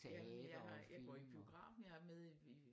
Jamen jeg har jeg går i biografen jeg er med i